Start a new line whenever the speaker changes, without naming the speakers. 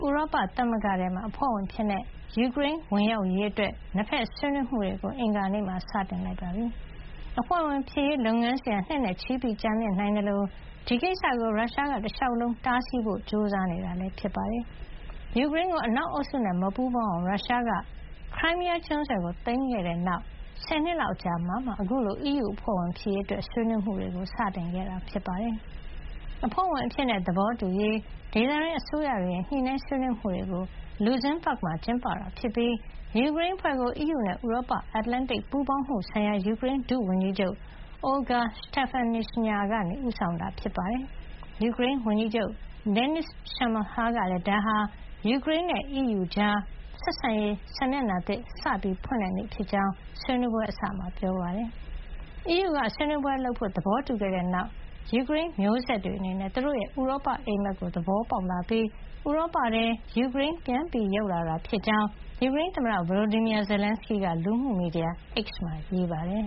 ဥရောပသမဂ္ဂထဲ အဖွဲ့ဝင်အဖြစ် ယူကရိန်းဝင်ရောက်ရေးအတွက် နှစ်ဘက်ဆွေးနွေးမှုတွေကို အင်္ဂါနေ့မှာ စတင်ခဲ့ပါတယ်။ အဖွဲ့ဝင်ဖြစ်ရေးလုပ်ငန်းစဉ်ဟာ နှစ်နဲ့ချီ ကြာမြင့်နိုင်သလို ဒီကိစ္စကို ရုရှားက တလျှောက်လုံး တားဆီးဖို့ကြိုးစားနေတာ ဖြစ်ပါတယ်။ ယူကရိန်းကို အနောက်အုပ်စုနဲ့ မပူးပေါင်းအောင် ရုရှားက Crimea ကျွန်းဆွယ်ကို စတင် သိမ်းခဲ့တဲ့နောက် ဆယ်နှစ်လောက်အကြာမှာမှ အခုလို အီးယူအဖွဲ့ဝင် ဖြစ်ရေး ဆွေးနွေးမှုတွေ စတင်ခဲ့တာဖြစ်ပါတယ်။ အဖွဲ့ဝင်အဖြစ် သဘောတူရေး ဒေသတွင်း အစိုးရတွေရဲ့ ညှိနှိုင်းဆွေးနွေးမှုတွေကို Luxembourg မှာ ကျင်းပတာ ဖြစ်ပြီး ယူကရိန်းအဖွဲ့ကို အီးယူနဲ့ ဥရောပ- အတ္တလန်တိတ်ပူးပေါင်းမှုဆိုင်ရာ ယူကရိန်း ဒုဝန်ကြီးချုပ် Olga Stefanishyna က ဦးဆောင်တာပါ။ ယူကရိန်းဝန်ကြီးချုပ် Denys Shmyhal ကလည်း ဒါဟာ ယူကရိန်းနဲ့ အီးယူကြား ဆက်ဆံရေး စာမျက်နှာသစ် စတင်ဖွင့်လှစ်တဲ့နေ့ဖြစ်ကြောင်း ဆွေးနွေးပွဲအစမှာ ပြောပါတယ်။ အီးယူက ဆွေးနွေးပွဲ ပြုလုပ်ဖို့ သဘောတူခဲ့တဲ့နောက်မှာ ယူကရိန်း မျိုးဆက်တွေအနေနဲ့ သူတို့ရဲ့ ဥရောပအိပ်မက်ကို သဘောပေါက်လာပြီး ဥရောပထဲ ယူကရိန်း ပြန်ရောက်လာတာ ဖြစ်ကြောင်း ယူကရိန်းသမ္မတ Volodymyr Zelenskyy က လူမှုမီဒ
ီယာ X မှာ ရေးပါတယ်